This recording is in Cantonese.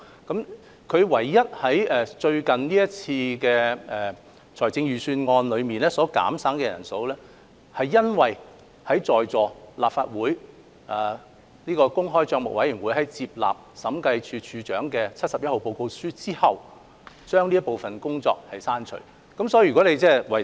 港台唯一在最近這次的預算案削減人手，是因為立法會政府帳目委員會接納了《審計署署長第七十一號報告書》後，港台負責教育電視節目製作的職位被刪除。